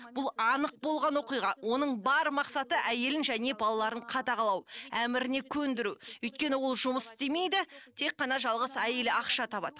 бұл анық болған оқиға оның бар мақсаты әйелін және балаларын қадағалау әміріне көндіру өйткені ол жұмыс істемейді тек қана жалғыз әйелі ақша табады